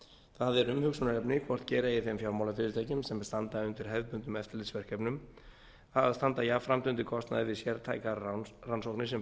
það er umhugsunarefni hvort gera eigi þeim fjármálafyrirtækjum sem standa undir hefðbundnum eftirlitsverkefnum að standa jafnframt undir kostnaði við sértækar rannsóknir sem